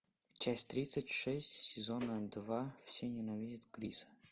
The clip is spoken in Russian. часть тридцать шесть сезона два все ненавидят криса